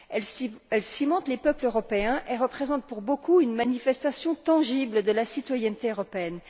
Elle cimente les peuples européens et représente pour beaucoup une manifestation tangible de la citoyenneté européenne.